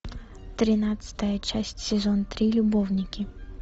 тринадцатая часть сезон три любовники